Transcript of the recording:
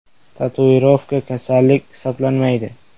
– Tatuirovka kasallik hisoblanmaydi.